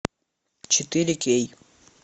четыре кей